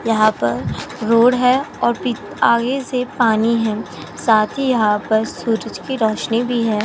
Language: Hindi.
यहाँ पर रोड है और पी आगे से पानी है साथी यहाँ पर सूरज की रोशनी भी है।